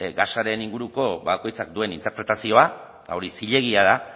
gasaren inguruko bakoitzak duen interpretazioa hori zilegia da